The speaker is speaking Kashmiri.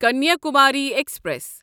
کنیاکماری ایکسپریس